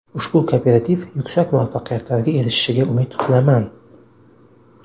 Ushbu kooperativ yuksak muvaffaqiyatlarga erishishiga umid qilaman”.